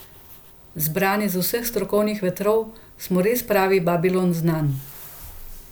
Zbrani z vseh strokovnih vetrov smo res pravi babilon znanj.